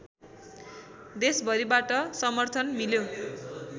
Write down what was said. देशभरिबाट समर्थन मिल्यो